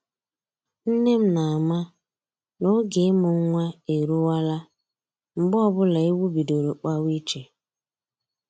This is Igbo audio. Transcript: Nne m na-ama n'oge ịmụ nwa eruwala mgbe ọbụla ewu bidoro kpawa iche